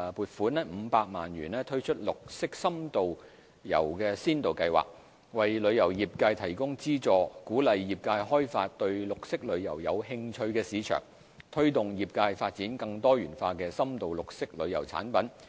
款500萬元推出"綠色深度遊先導計劃"，為旅遊業界提供資助，鼓勵業界開發對綠色旅遊有興趣的市場，推動業界發展更多元化的深度綠色旅遊產品。